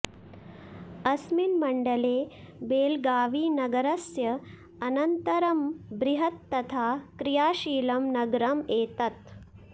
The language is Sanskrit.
अस्मिन् मण्डले बेळगावीनगरस्य अनन्तरं बृह्त् तथा क्रियाशीलं नगरम् एतत्